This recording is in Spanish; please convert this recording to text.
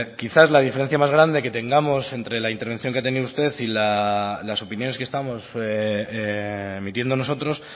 quizás la diferencia más grande que tengamos entre la intervención que ha tenido usted y las opiniones que estamos emitiendo nosotros